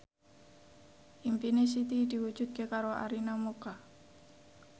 impine Siti diwujudke karo Arina Mocca